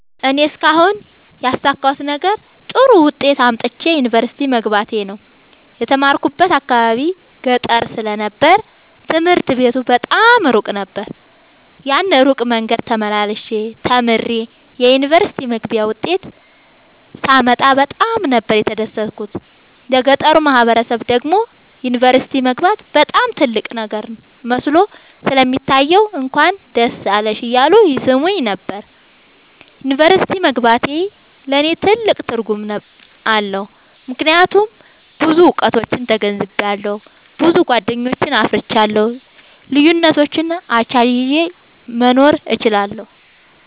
እኔ እስካሁን ያሣካሁት ነገር ጥሩ ዉጤት አምጥቼ ዩኒቨርሲቲ መግባቴ ነዉ። የተማርኩበት አካባቢ ገጠር ስለ ነበር ትምህርት ቤቱ በጣም እሩቅ ነበር። ያን እሩቅ መንገድ ተመላልሸ ተምሬ የዩኒቨርሲቲ መግቢያ ዉጤት ሳመጣ በጣም ነበር የተደሠትኩት ለገጠሩ ማህበረሠብ ደግሞ ዩኒቨርሲቲ መግባት በጣም ትልቅ ነገር መስሎ ስለሚታየዉ እንኳን ደስ አለሽ እያሉ ይሥሙኝ ነበር። ዩኒቨርሢቲ መግባቴ ለኔ ትልቅ ትርጉም አለዉ። ምክያቱም ብዙ እዉቀቶችን ተገንዝቤአለሁ። ብዙ ጎደኞችን አፍርቻለሁ። ልዩነቶችን አቻችየ መኖር እችላለሁ።